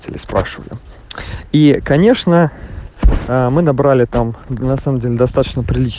цели спрашиваю и конечно ээ мы набрали там на самом деле достаточно прилично